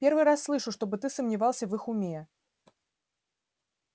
первый раз слышу чтобы ты сомневался в их уме